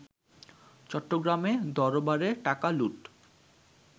চট্টগ্রামে দরবারে টাকা লুট